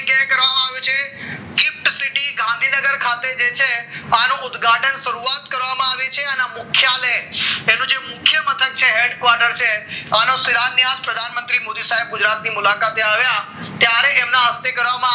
ગાંધીનગર ખાતે જે છે આનું ઉદ્ઘાટન કરવામાં આવી છે અને મુખ્ય લય એનું જે મુખ્ય મથક ચેહર quarters ત્યારે એમના હસ્તે કરવામાં આવ્યું